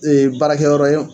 Ee baarakɛyɔrɔ ye